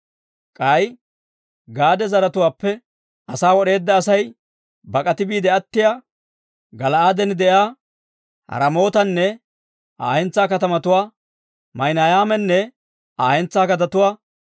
K'ay Gaade zaratuwaappe asaa wod'eedda Asay bak'ati biide attiyaa, Gala'aaden de'iyaa Raamootanne Aa hentsaa gadetuwaa, Maahinaymanne Aa hentsaa gadetuwaa,